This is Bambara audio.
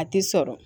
A tɛ sɔrɔ